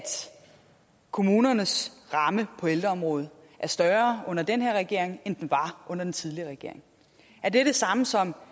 kommunernes ramme på ældreområdet er større under den her regering end den var under den tidligere regering er det det samme som